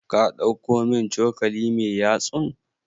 Ka ɗauko min cokali mai yatsun?